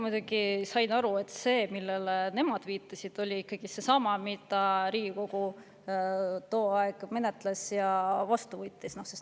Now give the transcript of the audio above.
Mina sain aru, et see, millele nemad viitasid, oli ikkagi seesama, mida Riigikogu tol ajal menetles ja mille ka vastu võttis.